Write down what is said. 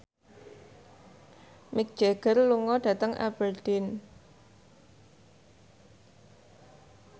Mick Jagger lunga dhateng Aberdeen